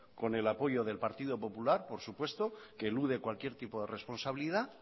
con el apoyo del partido popular por supuesto que elude cualquier tipo de responsabilidad